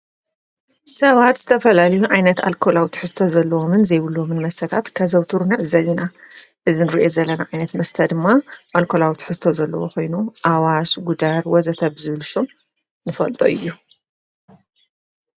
ሰባት ዝተፈላልዩ ዓይነት ኣልኮላዊ ትሕዝቶ ዘለዎምን ዘይብልዎምን መስተታት ከዘውትሩ ንዕዘብ ኢና። እዚ እንርእየ ዘለን ዓይነት መስተ ድማ ኣልኮዊ ትሕዝቶ ዘለዎ ኾይኑ ኣዋሽ፣ ጉዳር ወዘተ ብዝል ሹም ንፈልጦ እዩ።